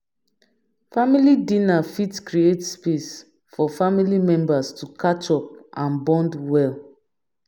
family dinner fit create space for family members to catch up and bond well